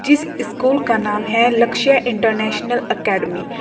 जिस स्कूल का नाम है लक्ष्य इंटरनेशनल अकैडमी ।